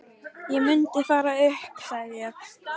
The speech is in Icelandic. Ég mundi fara upp, sagði ég.